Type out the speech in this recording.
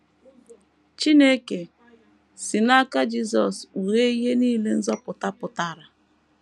Chineke si n’aka Jisọs kpughee ihe nile nzọpụta pụtara.